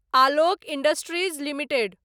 Alok industries limited